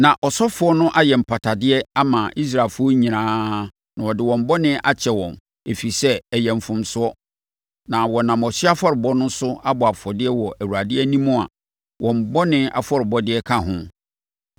Na ɔsɔfoɔ no ayɛ mpatadeɛ ama Israelfoɔ nyinaa na wɔde wɔn bɔne akyɛ wɔn; ɛfiri sɛ, ɛyɛ mfomsoɔ, na wɔnam ɔhyeɛ afɔrebɔ so abɔ afɔdeɛ wɔ Awurade anim a wɔn bɔne afɔrebɔdeɛ ka ho.